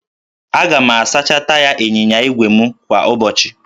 Aga m asacha taya ịnyịnya ígwè m kwa ụbọchị